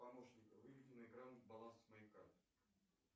помощник выведи на экран баланс моей карты